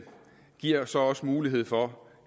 giver så også mulighed for